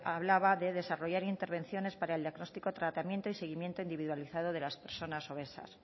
hablaba de desarrollar intervenciones para el diagnóstico tratamiento y seguimiento individualizado de las personas obesas